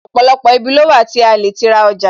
Ọ̀pọ̀lọpọ̀ ibi ló wà tí a lè ti ra ọjà